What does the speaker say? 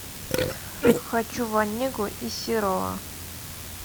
хочу в онегу из серова